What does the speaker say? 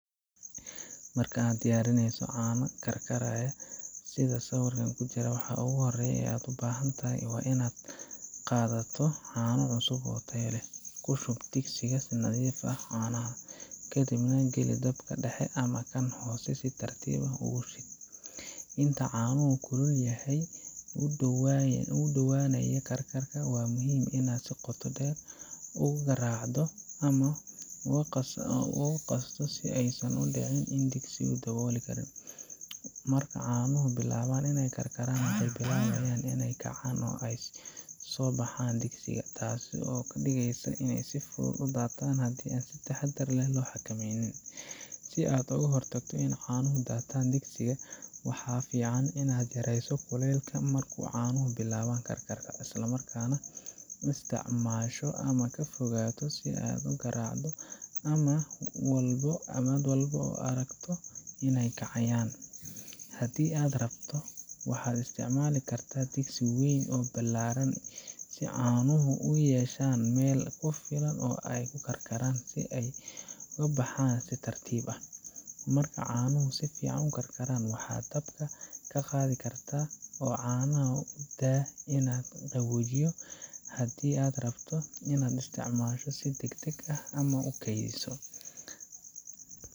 Marka aad diyaarinayso caano karkaraya sida sawirka ku jira, waxa ugu horreeya ee aad u baahan tahay waa inaad qaadato caano cusub oo tayo leh. Ku shub digsi si nadiif ah caanaha, kadibna geli dabka dhexe ama kan hoose si tartiib ah ugu shid. Inta caanuhu kulul yahay oo u dhowaanayaan karkar, waa muhiim inaad si joogto ah u garaacdo ama u qasdo si aysan u dhicin oo digsigu dabooli karin. Marka caanuhu bilaabaan inay karkaraan, waxay bilaabayaan inay kacaan oo ay ka soo baxaan digsiga taasoo ka dhigaysa inay si fudud u daataan haddii aan si taxaddar leh loo xakameyn. Si aad uga hortagto in caanuhu ka daataan digsiga , waxaa fiican inaad yarayso kulaylka marka caanuhu bilaabaan karkar, isla markaana isticmaasho qaaddo ama fargeeto si aad u garaacdo mar walba oo aad aragto inay kacayaan. Haddii aad rabto, waxaad isticmaali kartaa digsi weyn oo ballaadhan si caanuhu u yeeshaan meel ku filan oo ay ku karkaraan ayna ka baxaan si tartiib ah. Marka caanuhu si fiican u karkaraan, waxaad dabka ka qaadi kartaa oo caanaha u daa inaad qaboojiyaan haddii aad rabto in aad isticmaasho si degdeg ah ama aad u kaydiso.